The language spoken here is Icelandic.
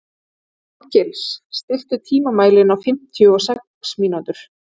Árgils, stilltu tímamælinn á fimmtíu og sex mínútur.